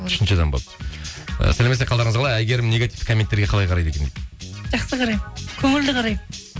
үшінші адам болып ы сәлеметсіз бе қалдарыңыз қалай әйгерім негативті комменттерге қалай қарайды екен жақсы қараймын көңілді қараймын